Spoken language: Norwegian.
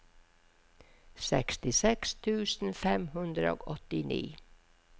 sekstiseks tusen fem hundre og åttini